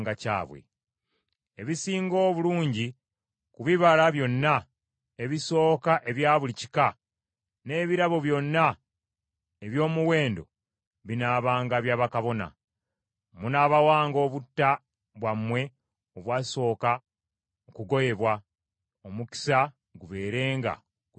Ebisinga obulungi ku bibala byonna ebisooka ebya buli kika n’ebirabo byonna eby’omuwendo binaabanga bya bakabona. Munaabawanga obutta bwammwe obwasooka okugoyebwa, omukisa gubeerenga ku nnyumba zammwe.